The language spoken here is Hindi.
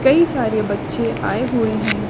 कई सारे बच्चे आए हुए है।